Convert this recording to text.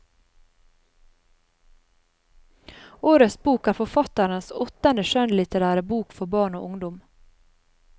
Årets bok er forfatterens åttende skjønnlitterære bok for barn og ungdom.